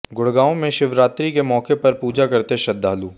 गुडग़ांव में शिवरात्रि के मौके पर पूजा करते श्रद्धालु